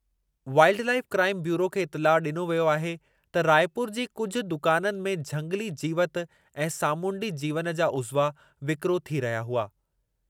Wild life crime bureau खे इतिलाउ ॾिनो वियो त रायपुर जी कुझु दुकाननि में झंगिली जीवति ऐं सामूंडी जीवनि जा उज़्वा विकिरो थी रहिया हुआ।